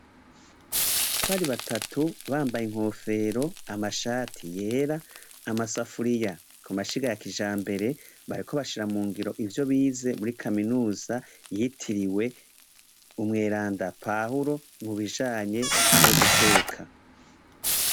batatu bambaye inkofero amashati yera n'amasafuriya ku mashiga ya kijambere bariko bashira mu ngiro ivyo bize kuri kaminuza yitiriwe umweranda Pahulo mu bijanye no guteka.